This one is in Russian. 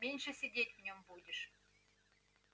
меньше сидеть в нём будешь